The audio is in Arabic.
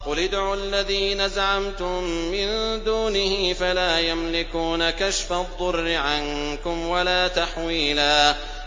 قُلِ ادْعُوا الَّذِينَ زَعَمْتُم مِّن دُونِهِ فَلَا يَمْلِكُونَ كَشْفَ الضُّرِّ عَنكُمْ وَلَا تَحْوِيلًا